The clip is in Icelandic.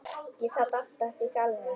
Ég sat aftast í salnum.